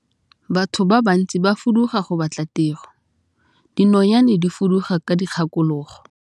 Batho ba bantsi ba fuduga go batla tiro, dinonyane di fuduga ka dikgakologo.